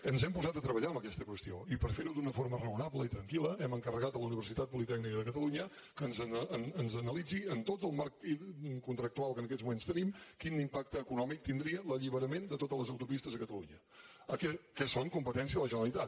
ens hem posat a treballar en aquesta qüestió i per ferho d’una forma raonable i tranquil·la hem encarregat a la universitat politècnica de catalunya que ens analitzi en tot el marc contractual que ens aquests moments tenim quin impacte econòmic tindria l’alliberament de totes les autopistes a catalunya que són competència de la generalitat